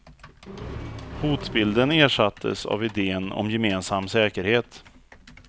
Hotbilden ersattes av iden om gemensam säkerhet.